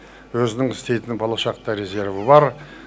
өзінің істейтін болашақта резерві бар